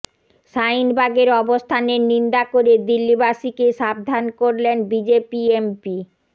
শাহিনবাগের অবস্থানের নিন্দা করে দিল্লিবাসীকে সাবধান করলেন বিজেপি এমপি